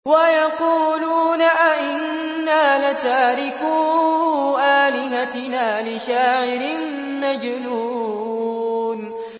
وَيَقُولُونَ أَئِنَّا لَتَارِكُو آلِهَتِنَا لِشَاعِرٍ مَّجْنُونٍ